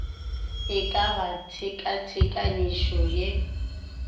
e ka ba tshenkonyakišišo ye